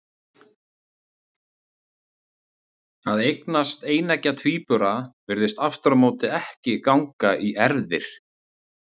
Að eignast eineggja tvíbura virðist aftur á móti ekki ganga í erfðir.